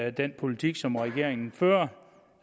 i den politik som regeringen fører